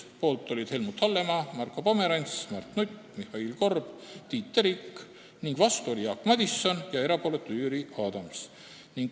Poolt olid Helmut Hallemaa, Marko Pomerants, Mart Nutt, Mihhail Korb ja Tiit Terik, vastu oli Jaak Madison ja erapooletuks jäi Jüri Adams.